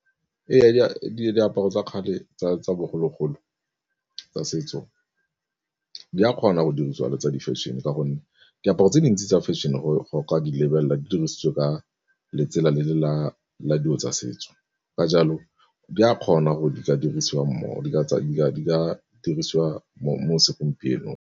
Ee, diaparo tsa kgale tsa bogologolo tsa setso di a kgona go dirisiwa la tsa di-fashion ka gonne diaparo tse dintsi tsa fashion-e gore o ka di lebelela di dirisitswe ka letsela le le la dilo tsa setso. Ka jalo di a kgona gore di ka dirisiwa mo segompienong.